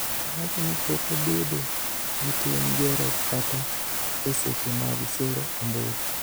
Owacho ni, pok abedo gi tim gero kata e seche mag sero ombulu.